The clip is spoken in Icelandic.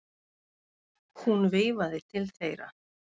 Hún veifaði til þeirra.